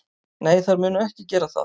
Nei, þær munu ekki gera það.